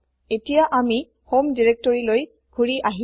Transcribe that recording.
এতিয়া আমি হম দিৰেক্তৰিলৈ ঘুৰি আহিলো